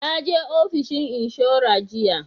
Naje ofishin inshora jiya